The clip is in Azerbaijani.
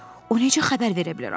O necə xəbər verə bilər axı?